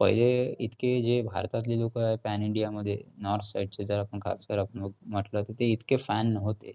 पहिले इतके जे भारतातले लोकं pan India मध्ये north side चे जर आपण आपण म्हंटलं की ते इतके fan नव्हते.